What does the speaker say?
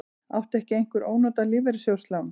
Átti ekki einhver ónotað lífeyrissjóðslán?